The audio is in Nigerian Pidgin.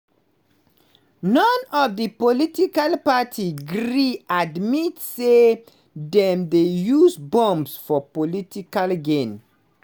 none of di political parties gree admit say dem dey use bombs for political gain.